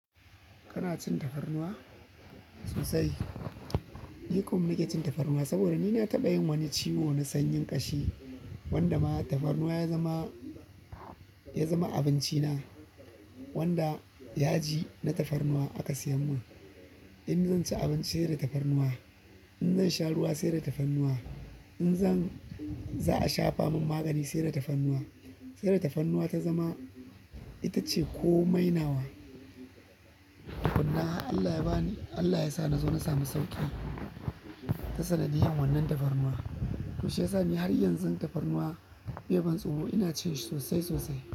Kana cin tafarnuwa? Sosai. Ni kuma na ke cin tafarnuwa saboda ni na taɓa yin wani ciwo na sanyin ƙashi wanda ma tafarnuwa ya zama, ya zama abinci na wanda yaji na tafarnuwa aka siya mun. In zan ci abinci sai da tafarnuwa, in zan sha ruwa sai da tafarnuwa, in zan za a shafa mun magani sai da tafarnuwa. Sai da tafarnuwa ta zama ita ce ko mainawa. Tukunna har Allah ya bani, Allah ya sa na zo na sami sauƙi ta sanadiyar wannan tafarnuwa. To shi ya sa ni har yanzun tafarnuwa bai ban tsoro, ina cin shi sosai sosai.